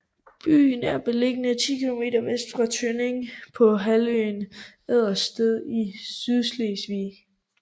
Byen er beliggende ti kilometer vest for Tønning på halvøen Ejdersted i Sydslesvig